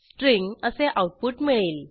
string असे output मिळेल